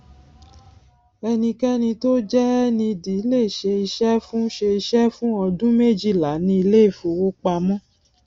enikeni tó jẹ ned lè ṣe iṣẹ fún ṣe iṣẹ fún ọdún méjìlá ní ilé ifówopàmọ